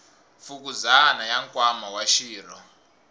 fukuzana ya nkwama wa xirho